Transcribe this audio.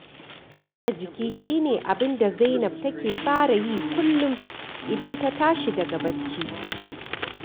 Motsa jiki shi ne abin da Zainab take fara yi kullum idan ta tashi daga bacci